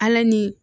Ala ni